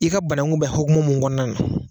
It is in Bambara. I ka banankun bɛ hukumu mun kɔnɔna na.